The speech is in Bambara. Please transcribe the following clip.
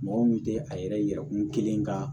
Mɔgɔ min tɛ a yɛrɛkun kelen ka